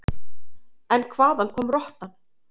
En hvaðan kom rottan?